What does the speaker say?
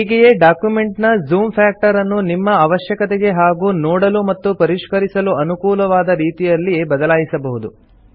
ಹೀಗೆಯೇ ಡಾಕ್ಯುಮೆಂಟ್ ನ zoom factor ಅನ್ನು ನಿಮ್ಮ ಅವಶ್ಯಕತೆಗೆ ಹಾಗೂ ನೋಡಲು ಮತ್ತು ಪರಿಷ್ಕರಿಸಲು ಅನುಕೂಲವಾದ ರೀತಿಯಲ್ಲಿ ಬದಲಾಯಿಸಬಹುದು